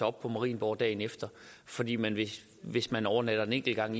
op på marienborg dagen efter fordi man hvis man overnatter en enkelt gang